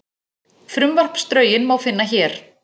Frumvarpsdrögin má finna hér